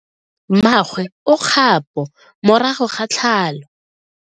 Mmagwe o kgapo morago ga tlhalo.